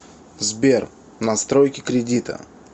сбер настройки кредита